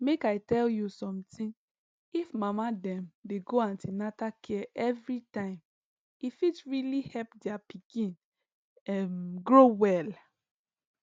make i tell you something if mama dem dey go an ten atal care every time e fit really help their pikin um grow well